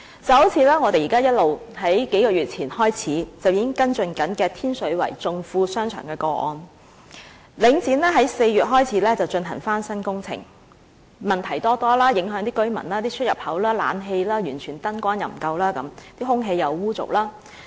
正如我們自數月前便已開始跟進的天水圍頌富商場個案，領展自4月開始進行翻新工程以來，問題多多，影響居民，出入口、冷氣和燈光均完全不足，空氣又污濁。